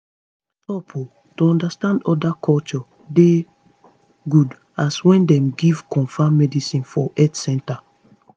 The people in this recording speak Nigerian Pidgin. stop o to understand oda culture dey good as wen dem give confam medicine for health canters